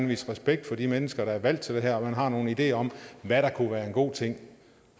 vise respekt for de mennesker der er valgt til det her og har nogle ideer om hvad der kunne være en god ting